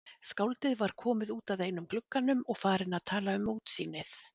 Skáldið var komið út að einum glugganum og farinn að tala um útsýnið.